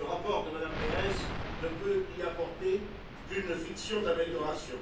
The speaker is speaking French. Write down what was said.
Le rapport de Mme Berès ne peut y apporter qu'une fiction d'amélioration.